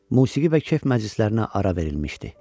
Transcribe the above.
Musiqi və kef məclislərinə ara verilmişdi.